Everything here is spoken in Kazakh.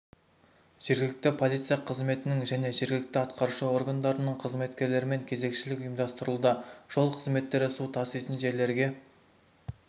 жергілікті полиция қызметінің және жергілікті атқарушы органдарының қызметкерлерімен кезекшілік ұйымдастырылуда жол қызметтері су таситын жерлерге